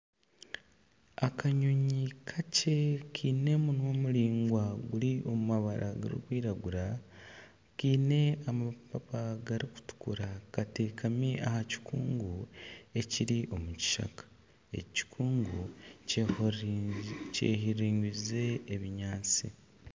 Akanyonyi kakye kiine omunwa muraingwa oguri omu mabara garikwiragura kiine amapapa garikutukura kateekami aha kikungu ekiri omu kishaka, eki kikungu kyehinguririze ebinyaatsi.